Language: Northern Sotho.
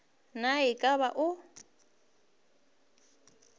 na e ka ba o